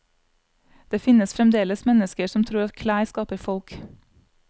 Det finnes fremdeles mennesker som tror at klær skaper folk.